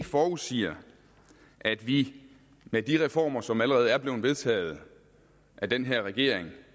forudsiger at vi med de reformer som allerede er blevet vedtaget af den her regering det